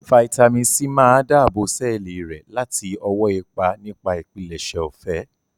Fáítámì sí máa dáàbò sẹ́ẹ̀lì rẹ láti ọwọ́ ipa nipa ìpilẹ̀ṣẹ̀ ọ̀fẹ́